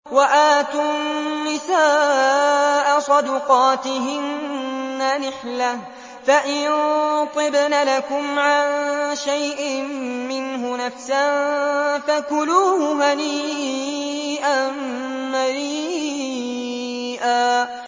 وَآتُوا النِّسَاءَ صَدُقَاتِهِنَّ نِحْلَةً ۚ فَإِن طِبْنَ لَكُمْ عَن شَيْءٍ مِّنْهُ نَفْسًا فَكُلُوهُ هَنِيئًا مَّرِيئًا